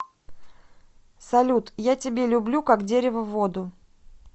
салют я тебе люблю как дерево воду